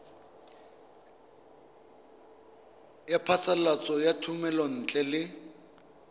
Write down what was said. ya phasalatso ya thomelontle le